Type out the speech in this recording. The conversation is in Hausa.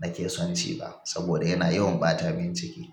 nake son ci ba saboda yana yawan ɓata min ciki.